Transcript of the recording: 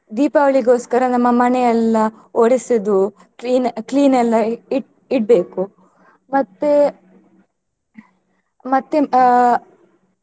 ದೀಪಾವಳಿಗೋಸ್ಕರ ನಮ್ಮ ಮನೆಯೆಲ್ಲ ಒರೆಸುದು clean clean ಎಲ್ಲ ಇಟ್ಟ್~ ಇಡ್ಬೇಕು ಮತ್ತೆ ಮತ್ತೆ ಅಹ್.